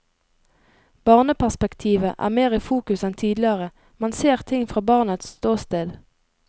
Barneperspektivet er mer i fokus enn tidligere, man ser ting fra barnets ståsted.